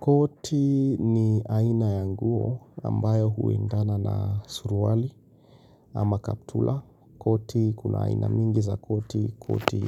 Koti ni aina ya nguo ambayo huendana na suruali ama kaptula. Koti kuna aina mingi za koti, koti